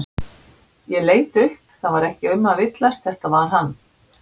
Ég leit upp það var ekki um að villast, þetta var hann.